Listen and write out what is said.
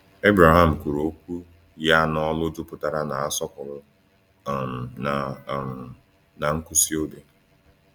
Ebraham kwuru okwu ya n’olu jupụtara n’asọpụrụ um na um na nkwụsi obi.